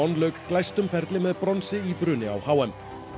lauk glæstum ferli með bronsi í bruni á h m